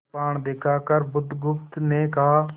कृपाण दिखाकर बुधगुप्त ने कहा